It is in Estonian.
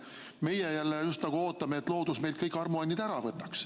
Meie jälle just nagu ootame, et loodus meilt kõik armuannid ära võtaks.